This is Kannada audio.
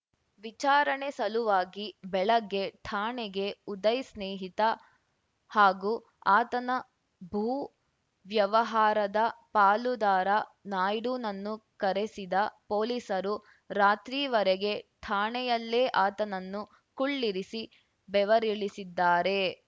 ವಿಚಾರಣೆ ಸಲುವಾಗಿ ಬೆಳಗ್ಗೆ ಠಾಣೆಗೆ ಉದಯ್‌ ಸ್ನೇಹಿತ ಹಾಗೂ ಆತನ ಭೂ ವ್ಯವಹಾರದ ಪಾಲುದಾರ ನಾಯ್ಡುನನ್ನು ಕರೆಸಿದ ಪೊಲೀಸರು ರಾತ್ರಿವರೆಗೆ ಠಾಣೆಯಲ್ಲೇ ಆತನನ್ನು ಕುಳ್ಳಿರಿಸಿ ಬೆವರಿಳಿಸಿದ್ದಾರೆ